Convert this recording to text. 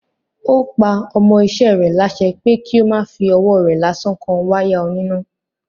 Ó pa ọmọ iṣẹ́ rẹ̀ lásẹ pé kí ó má fí ọwọ́ rẹ̀ lásán kan wáyà oníná.